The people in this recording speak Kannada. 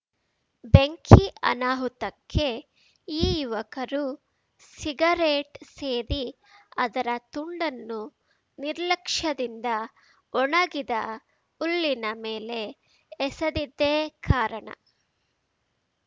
ಬೆಂಕಿ ಅನಾಹುತಕ್ಕೆ ಈ ಯುವಕರು ಸಿಗರೆಟ್‌ ಸೇದಿ ಅದರ ತುಂಡನ್ನು ನಿರ್ಲಕ್ಷ್ಯದಿಂದ ಒಣಗಿದ ಹುಲ್ಲಿನ ಮೇಲೆ ಎಸೆದಿದ್ದೇ ಕಾರಣ